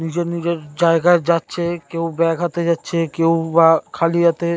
নিজের নিজের জায়গায় যাচ্ছে কেউ ব্যাগ হাতে যাচ্ছে কেউ বা খালি হাতে--